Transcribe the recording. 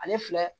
Ale filɛ